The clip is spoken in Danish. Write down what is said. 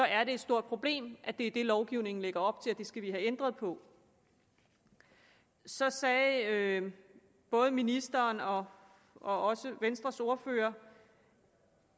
er det et stort problem at det er det lovgivningen lægger op til og det skal vi have ændret på så sagde både ministeren og og venstres ordfører